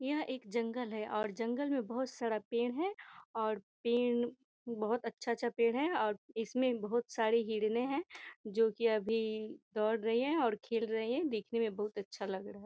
यह एक जंगल है और जंगल में बहोत सारा पेड़ है और पेड़ बहोत अच्छा-अच्छा पेड़ है और इसमें बहोत सारी हिरणे हैं जो की अभी दौड़ रही हैं और खेल रही है देखने में बहोत अच्छा लग रहा है।